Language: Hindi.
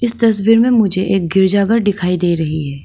इस तस्वीर में मुझे एक गिरजाघर दिखाई दे रही है।